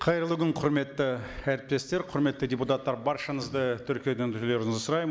қайырлы күн құрметті әріптестер құрметті депутаттар баршаңызды тіркеуден өтулеріңізді сұраймын